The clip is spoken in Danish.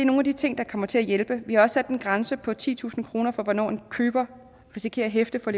nogle af de ting der kommer til at hjælpe vi har også sat en grænse på titusind kroner for hvornår en køber risikerer at hæfte for